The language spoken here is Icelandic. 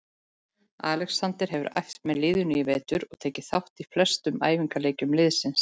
Alexander hefur æft með liðinu í vetur og tekið þátt í flestum æfingaleikjum liðsins.